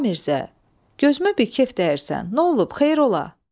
A Mirzə, gözümə bir kef dəyirsən, nə olub, xeyir ola?